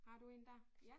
Har du én dér?